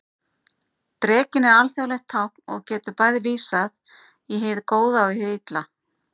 Drekinn er alþjóðlegt tákn og getur bæði vísað í hið góða og hið illa.